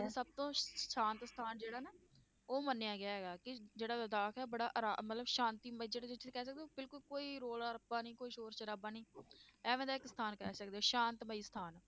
ਸਭ ਤੋਂ ਸ਼ਾਂਤ ਸਥਾਨ ਜਿਹੜਾ ਨਾ ਉਹ ਮੰਨਿਆ ਗਿਆ ਹੈਗਾ ਕਿ ਜਿਹੜਾ ਲਦਾਖ ਹੈ ਬੜਾ ਆਰਾ~ ਮਤਲਬ ਸ਼ਾਂਤੀਮਈ ਜਿਹੜਾ ਜਿੱਥੇ ਕਹਿ ਸਕਦੇ ਹੋ ਕਿ ਬਿਲਕੁਲ ਕੋਈ ਰੌਲਾ ਰੱਪਾ ਨੀ ਕੋਈ ਸ਼ੌਰ ਸ਼ਰਾਬਾ ਨੀ ਐਵੇਂ ਦਾ ਇੱਕ ਸਥਾਨ ਕਹਿ ਸਕਦੇ ਹੋ ਸ਼ਾਂਤਮਈ ਸਥਾਨ।